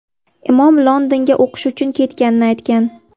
Imon Londonga o‘qish uchun ketganini aytgan.